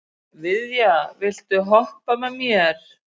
Viðja, viltu hoppa með mér?